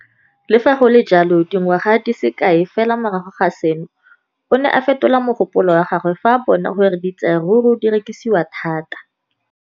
Le fa go le jalo, dingwaga di se kae fela morago ga seno, o ne a fetola mogopolo wa gagwe fa a bona gore diratsuru di rekisiwa thata.